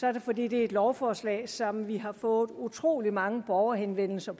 er det fordi det er et lovforslag som vi har fået utrolig mange borgerhenvendelser